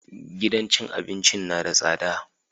Gidan cin abincin na da tsada